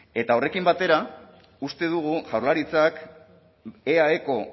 eta horrekin batera uste dugu jaurlaritzak eaeko